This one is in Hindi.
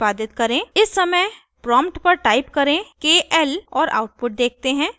इस समय प्रॉम्प्ट पर टाइप करें kl और आउटपुट देखते हैं